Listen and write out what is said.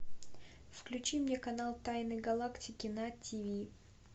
включи мне канал тайны галактики на тв